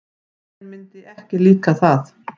Þér myndi ekki líka það.